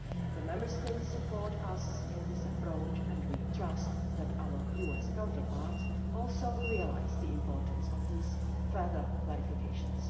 The Member States support us in this approach, and we trust that our US counterparts also realise the importance of these further clarifications.